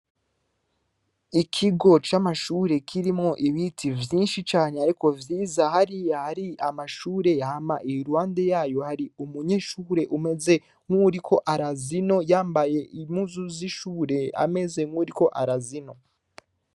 Ikigo ca mashure kirimwo ibiti vyishi cane ariko vyiza hariya hari amashuri hama iruhande yayo hari umunyeshuri umeze nkuwuriko araza ino yambaye impuzu zi shuri ameze nkuwuriko arazi ino.